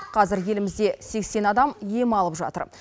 қазір елімізде сексен адам ем алып жатыр